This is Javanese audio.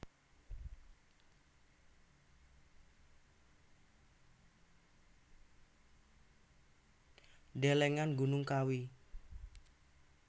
Delengen Gunung Kawi